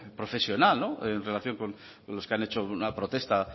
profesional en relación con los que han hecho una protesta